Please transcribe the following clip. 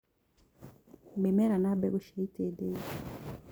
mĩmera na mbegũ cia itindiĩ